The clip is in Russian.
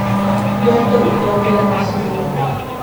доктор кто первый сезон